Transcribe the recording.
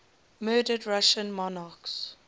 murdered russian monarchs